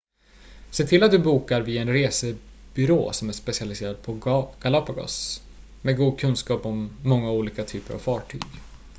se till att du bokar via en resebyrå som är specialiserad på galapagos med god kunskap om många olika typer av fartyg